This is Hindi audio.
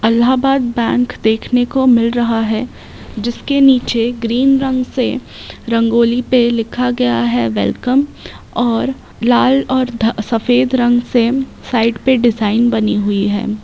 अलाहाबाद बैंक देखने को मिल रहा है जिसके नीचे ग्रीन रंग से रंगोली पे लिखा गया है वेलकम और लाल और ध-सफेद रंग से साइड पे डिजाइन बनी हुई है।